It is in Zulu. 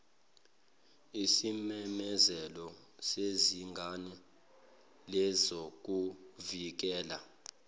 isimemezelo sezinga lezokuvikela